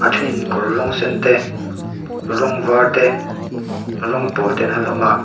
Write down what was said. thing kawr rawng sen te rawng var te rawng pawl te an ha hlawm a.